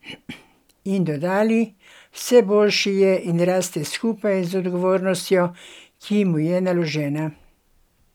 In dodali: "Vse boljši je in raste skupaj z odgovornostjo, ki mu je naložena.